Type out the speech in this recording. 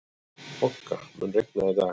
Bogga, mun rigna í dag?